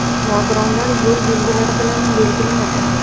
Nogironlar” yo‘l belgilari bilan belgilanadi.